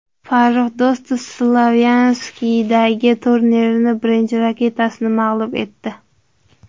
Farrux Do‘stov Slovakiyadagi turnirning birinchi raketkasini mag‘lub etdi.